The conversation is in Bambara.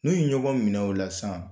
N'u ye ɲɔgɔn minɛ o la san